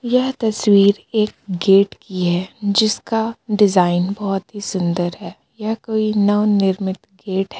यह तस्वीर एक गेट की है जिसका डिजाइन बहुत ही सुंदर है या कोई नवनिर्मित गेट है.